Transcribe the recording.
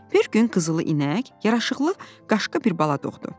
Bir gün qızılı inək yaraşıqlı qaşqı bir bala doğdu.